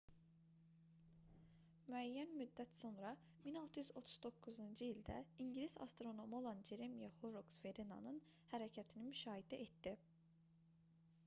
müəyyən müddət sonra 1639-cu ildə ingilis astronomu olan ceremiah horroks veneranın hərəkətini müşahidə etdi